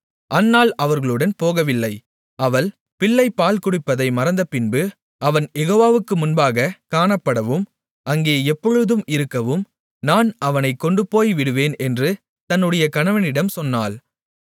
அன்னாள் அவர்களுடன் போகவில்லை அவள் பிள்ளை பால்குடிப்பதை மறந்தபின்பு அவன் யெகோவாவுக்கு முன்பாக காணப்படவும் அங்கே எப்பொழுதும் இருக்கவும் நான் அவனைக் கொண்டுபோய்விடுவேன் என்று தன்னுடைய கணவனிடம் சொன்னாள்